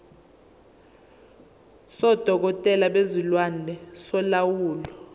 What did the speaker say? sodokotela bezilwane solawulo